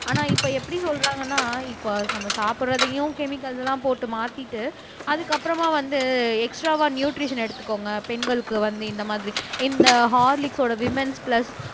ஆனா இப்ப எப்படி சொல்றாங்கன்னா இப்ப நம்ம சாப்பிடுறதையும் கெமிக்கல்ஸ் எல்லாம் போட்டு மாத்திட்டு அதுக்கப்புறமா வந்து எக்ஸ்ட்ராவா நியூட்ரிஷன் எடுத்துக்கோங்க பெண்களுக்கு வந்து இந்த மாதிரி இந்த ஹார்லிக்ஸோட விமன்ஸ் பிளஸ்